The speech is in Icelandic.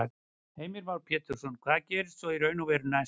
Heimir Már Pétursson: Hvað gerist svo í raun og veru næst?